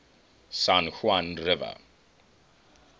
san juan river